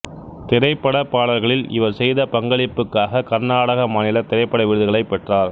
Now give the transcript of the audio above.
திரைப்படப் பாடல்களில் இவர் செய்த பங்களிப்புக்காக கர்நாடக மாநில திரைப்பட விருதுகளைப் பெற்றார்